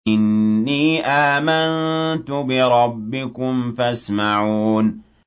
إِنِّي آمَنتُ بِرَبِّكُمْ فَاسْمَعُونِ